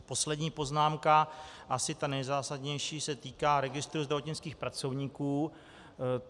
Poslední poznámka, asi ta nejzásadnější, se týká registru zdravotnických pracovníků.